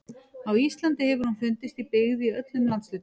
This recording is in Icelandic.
Á Íslandi hefur hún fundist í byggð í öllum landshlutum.